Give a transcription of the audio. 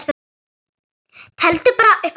Teldu bara upp að þúsund.